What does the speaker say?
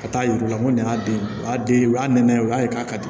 Ka taa yir'u la ko nin y'a den a den o y'a nɛnɛ o y'a ye k'a ka di